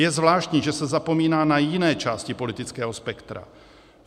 Je zvláštní, že se zapomíná na jiné části politického spektra.